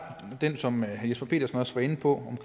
der det som herre jesper petersen også var inde på